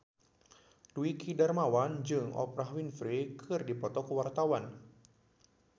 Dwiki Darmawan jeung Oprah Winfrey keur dipoto ku wartawan